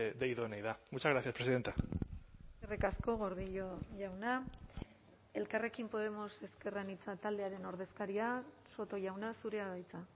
de idoneidad muchas gracias presidenta eskerrik asko gordillo jauna elkarrekin podemos ezker anitza taldearen ordezkaria soto jauna zurea da hitza